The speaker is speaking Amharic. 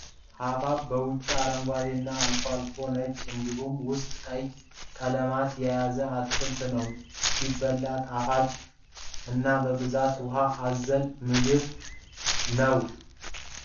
ሀባባ ውጪው አረንጓዴ እና አልፎ አልፎ ነጭ እንዲሁም ውስጡ ቀይ ቀለማትን የያዘ አትክልት ነው። ሲበላ ጣፋጭ እና በብዛት ውሃ አዘል ምግብ ነው።